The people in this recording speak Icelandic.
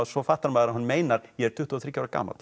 svo fattar maður að hann meinar ég er tuttugu og þriggja ára gamall